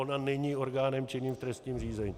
Ona není orgánem činným v trestním řízení.